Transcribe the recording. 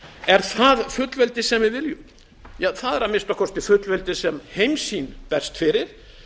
er það fullveldið sem við viljum það er að minnsta kosti fullveldið sem heimssýn berst fyrir